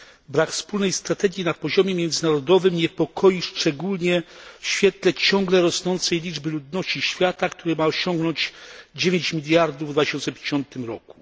Brak wspólnej strategii na poziomie międzynarodowym niepokoi, szczególnie w świetle ciągle rosnącej liczby ludności świata, która ma osiągnąć 9 mld w 2050 roku.